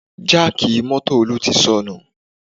Jáàkì mọ́tò Olú ti sanù